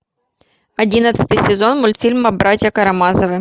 одиннадцатый сезон мультфильма братья карамазовы